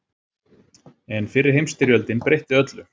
En fyrri heimsstyrjöldin breytti öllu.